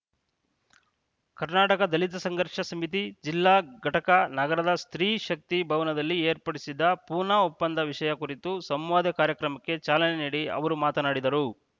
ಕರ್ನಾಟಕ ದಲಿತ ಸಂಘರ್ಷ ಸಮಿತಿ ಜಿಲ್ಲಾ ಘಟಕ ನಗರದ ಸ್ತ್ರೀಶಕ್ತಿ ಭವನದಲ್ಲಿ ಏರ್ಪಡಿಸಿದ್ದ ಪೂನಾ ಒಪ್ಪಂದ ವಿಷಯ ಕುರಿತ ಸಂವಾದ ಕಾರ್ಯಕ್ರಮಕ್ಕೆ ಚಾಲನೆ ನೀಡಿ ಅವರು ಮಾತನಾಡಿದರು